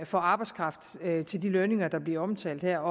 for arbejdskraft til de lønninger der bliver omtalt her